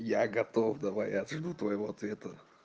я готов давай я жду твоего ответа